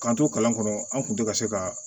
K'an to kalan kɔnɔ an kun te ka se ka